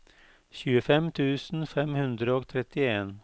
tjuefem tusen fem hundre og trettien